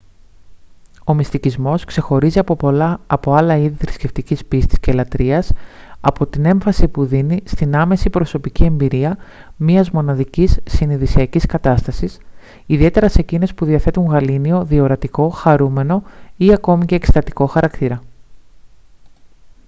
ο μυστικισμός ξεχωρίζει από άλλα είδη θρησκευτικής πίστης και λατρείας από την έμφαση που δίνει στην άμεση προσωπική εμπειρία μιας μοναδικής συνειδησιακής κατάστασης ιδιαίτερα σε εκείνες που διαθέτουν γαλήνιο διορατικό χαρούμενο ή ακόμη και εκστατικό χαρακτήρα